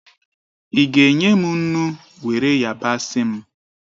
Ị ga enye m nnu, were yabasị m?